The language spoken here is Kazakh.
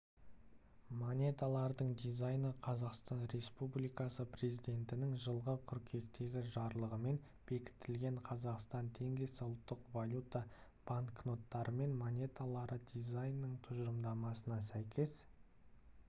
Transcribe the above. монеталардың дизайны қазақстан республикасы президентінің жылғы қыркүйектегі жарлығымен бекітілген қазақстан теңгесі ұлттық валюта банкноттары мен монеталары дизайнының тұжырымдамасына сәйкес